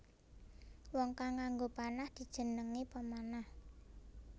Wong kang nganggo panah dijenengi pemanah